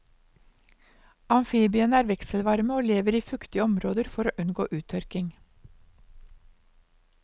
Amfibiene er vekselvarme og lever i fuktige områder for å unngå uttørking.